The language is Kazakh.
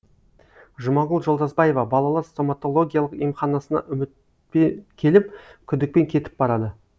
жұмагүл жолдасбаева балалар стоматологиялық емханасына үміт пе келіп күдікпен кетіп барады